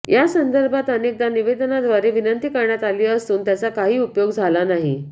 या संदर्भात अनेकदा निवेदनाव्दारे विनंती करण्यात आली असून त्याचा काही उपयोग झाला नाही